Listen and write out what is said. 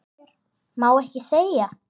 Má ekki segja.